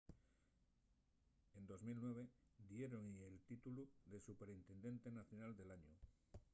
en 2009 diéron-y el títulu de superintendente nacional del añu